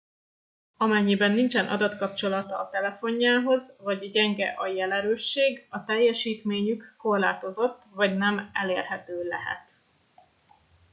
amennyiben nincsen adatkapcsolata a telefonjához vagy gyenge a jelerősség a teljesítményük korlátozott vagy nem elérhető lehet